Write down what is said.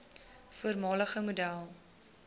voormalige model